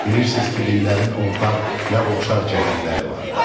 Bilirsiniz ki, dinlərin ortaq və oxşar cəhətləri vardır.